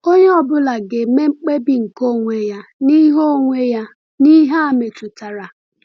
Onye ọ bụla ga-eme mkpebi nke onwe ya n’ihe onwe ya n’ihe a metụtara.